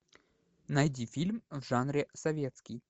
найди фильм в жанре советский